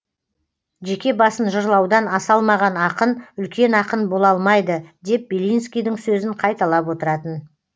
жеке басын жырлаудан аса алмаған ақын үлкен ақын бола алмайды деп белинскийдің сөзін қайталап отыратын